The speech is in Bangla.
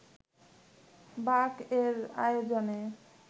বাক-এর আয়োজনে